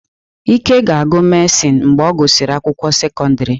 Ike ga-agụ mehsịn mgbe ọ gụsịrị akwụkwọ sekọndrị.